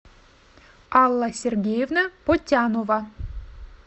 алла сергеевна потянова